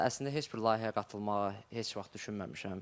Əslində heç bir layihəyə qatılmağa heç vaxt düşünməmişəm.